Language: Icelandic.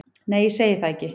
Nei, ég segi það ekki.